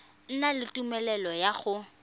na le tumelelo ya go